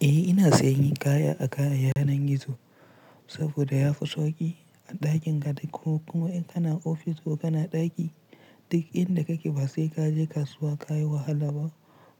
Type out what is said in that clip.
Eh ina sayan kaya a yanar gizo saboda ya fi sauƙi a ɗakin ka ɗai ko kuma in kana ofis ko kana ɗaki duk inda kake ba sai ka je kasuwa ka yi wahala ba